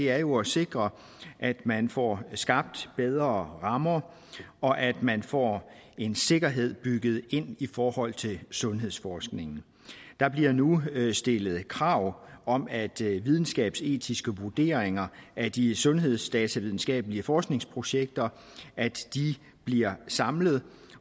er jo at sikre at man får skabt bedre rammer og at man får en sikkerhed bygget ind i forhold til sundhedsforskningen der bliver nu stillet krav om at videnskabsetiske vurderinger af de sundhedsdatavidenskabelige forskningsprojekter bliver samlet